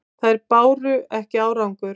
Þær báru ekki árangur.